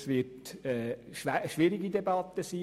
Es wird eine schwierige Debatte werden.